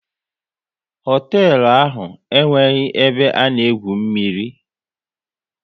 Hoteelu ahụ enweghị ebe a na-egwu mmiri